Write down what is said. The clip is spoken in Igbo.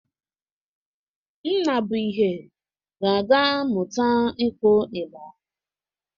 Nnabụihe ga-aga mụta ịkụ ịgba.